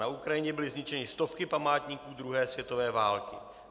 Na Ukrajině byly zničeny stovky památníků druhé světové války.